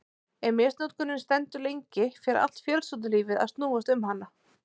Ef misnotkunin stendur lengi fer allt fjölskyldulífið að snúast um hana.